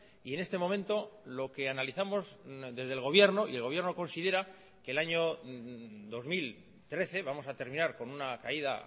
y en este momento lo que analizamos desde el gobierno y el gobierno considera que el año dos mil trece vamos a terminar con una caída